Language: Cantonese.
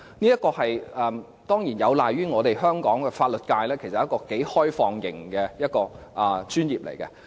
這當然有賴於香港的法律界其實是頗為開放型的專業。